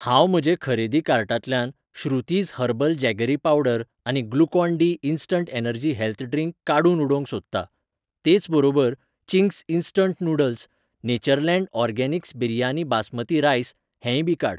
हांव म्हजे खरेदी कार्टांतल्यान श्रुतीज हर्बल जॅगरी पावडर आनी Glucon D instant energy health drink काडून उडोवंक सोदतां, तेच बरोबर, Ching's instant noodles, Natureland organics biryani basmati rice हेंय बी काड.